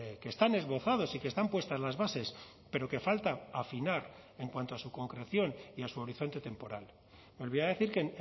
que están esbozados y que están puestas las bases pero que falta afinar en cuanto a su concreción y a su horizonte temporal volvía a decir que